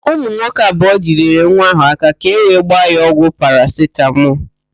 Ụmụ nwoke abụọ jidere nwa ahụ áká ka ewee gbaa ya ọgwụ parasitamọl.